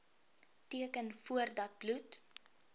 teken voordat bloed